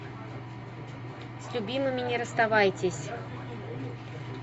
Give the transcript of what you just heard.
с любимыми не расставайтесь